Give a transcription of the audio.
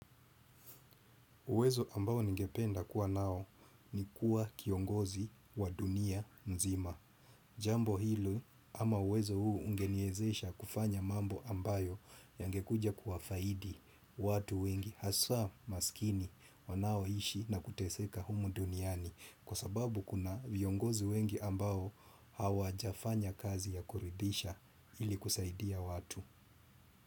Uwezo ambao ningependa kuwa nao, ni kuwa kiongozi wa dunia nzima. Jambo hilo ama uwezo huu ungeniezesha kufanya mambo ambayo yangekuja kuwa faidi watu wengi haswa masikini wanao ishi na kuteseka humu duniani. Jambo hilo, ama uwezo huu ungeniezesha kufanya mambo ambayo yangekuja kuwa faidi watu wengi haswa maskini, wanao ishi na kuteseka humu duniani.